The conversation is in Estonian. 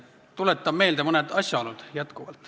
Tuletan jätkuvalt meelde mõned asjaolud.